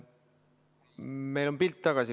Meil on pilt tagasi.